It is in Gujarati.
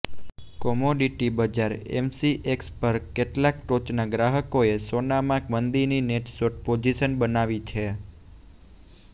કોમોડિટી બજાર એમસીએક્સ પર કેટલાક ટોચના ગ્રાહકોએ સોનામાં મંદીની નેટ શોર્ટ પોઝિશન બનાવી છે